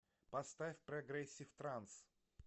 поставь прогрессив транс